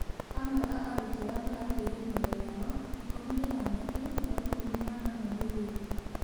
Amwe a arũtwo arĩa marateĩre mĩoyo yao ĩkumĩ ni anake nao ĩkumi na anana nĩ aĩretũ